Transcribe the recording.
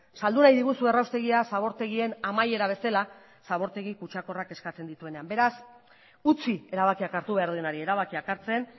saldu nahi diguzue erraustegia zabortegien amaiera bezala zabortegi kutsakorrak eskatzen dituenean beraz utzi erabakiak hartu behar duenari erabakiak hartzen